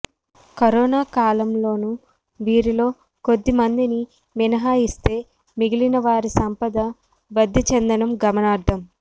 corona కాలంలోనూ వీరిలో కొద్ది మందిని మినహాయిస్తే మిగిలిన వారి సంపద వద్ధి చెందడం గమనార్హం